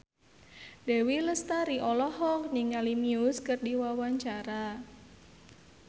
Dewi Lestari olohok ningali Muse keur diwawancara